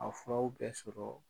A furaw bɛ sɔrɔ